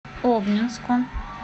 обнинску